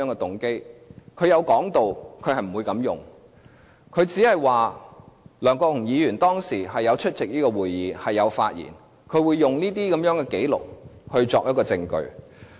律政司有提到不會這樣用，只是想知道梁國雄議員當時有出席會議，亦有發言，會用這些紀錄作為證據。